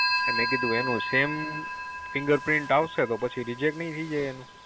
એની Sam figure આવી તો Reject થઈ જા